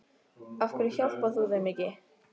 Af hverju hjálpar þú þeim ekki?